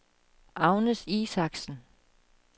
Agnes Isaksen